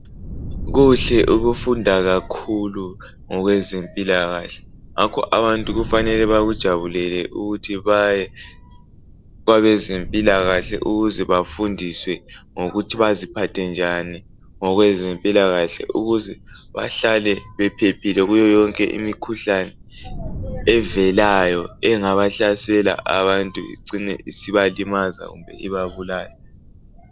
Kuhle ukufunda kakhulu ngokweze mpilakahle. Ngakho abantu kufanele bakujabulele ukuthi baye kwabezempilakahle ukuze bafundiswe ngokuthi baziphathe njani, ngokweze mpilakahle ukuze bahlale bephephile kuyo yonke imikhuhlane, evelayo, engabahlasela abantu icine isibalimaza bantu kumbe ibabulala.